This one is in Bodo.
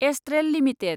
Astral limited